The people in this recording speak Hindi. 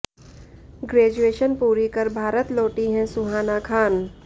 ग्रेजुएशन पूरी कर भारत लौटी हैं सुहाना खान